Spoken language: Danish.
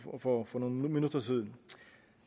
for nogle minutter siden